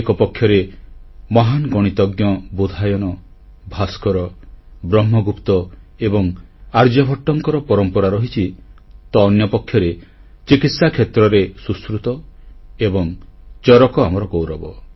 ଏକପକ୍ଷରେ ମହାନ ଗଣିତଜ୍ଞ ବୋଧାୟନ ଭାସ୍କର ବ୍ରହ୍ମଗୁପ୍ତ ଏବଂ ଆର୍ଯ୍ୟଭଟ୍ଟଙ୍କ ପରମ୍ପରା ରହିଛି ତ ଅନ୍ୟପକ୍ଷରେ ଚିକିତ୍ସା କ୍ଷେତ୍ରରେ ସୁଶ୍ରୁତ ଏବଂ ଚରକ ଆମ ଗୌରବ